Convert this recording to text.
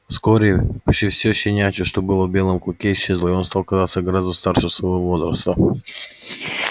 вскоре почти все щенячье что было в белом клыке исчезло и он стал казаться гораздо старше своего возраста